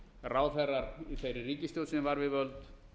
ráðherrar í þeirri ríkisstjórn sem var við völd